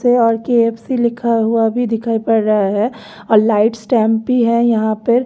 से और के_एफ_सी लिखा हुआ भी दिखाई पड़ रहा है और लाइट स्टैंप भी है यहां पे --